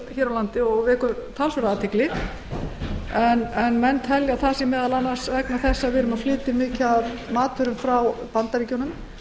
hér á landi er því allt of mikil og vekur það athygli talið að það sé meðal annars vegna þess að við flytjum inn mikið af matvöru frá bandaríkjunum